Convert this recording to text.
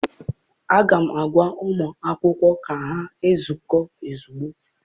Aga m agwa ụmụ akwụkwọ ka ha zukọọ ozugbo!